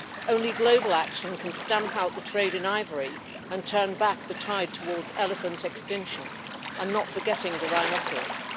Only global action can stamp out the trade in ivory and turn back the tide towards elephant extinction, and not forgetting the rhinoceros.